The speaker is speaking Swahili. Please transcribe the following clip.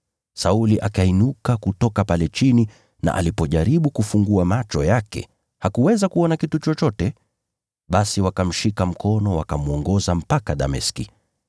Sauli akainuka kutoka pale chini na alipojaribu kufungua macho yake hakuweza kuona kitu chochote. Basi wakamshika mkono wakamwongoza mpaka Dameski.